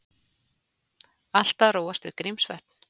Allt að róast við Grímsvötn